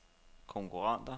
konkurrenter